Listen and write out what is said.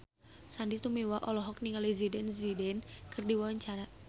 Sandy Tumiwa olohok ningali Zidane Zidane keur diwawancara